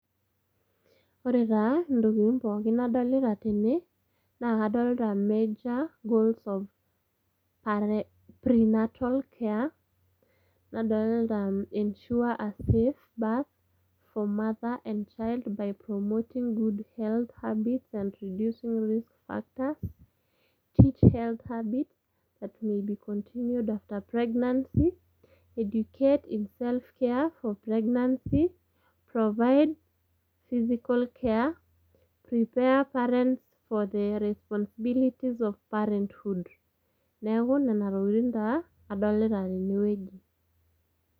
ore taa ntokitin pookin nadolita tene naa kadolita major goals of prenatal care nadolita ensure a safe a birth for mother and child by promoting good health habits and reducing risk factors that may be continued after pregnancy, educate in self care for pregnancy , provide physical care ,prepare parents for their responsibilities of parenthood. Neeku nena tokitin taa adolita tene wueji.